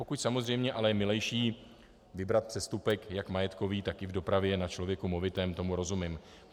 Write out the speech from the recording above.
Pokud samozřejmě ale je milejší vybrat přestupek jak majetkový, tak i v dopravě na člověku movitém, tomu rozumím.